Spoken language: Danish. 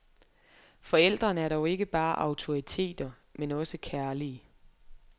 Forældrene er dog ikke bare autoriteter, men også kærlige.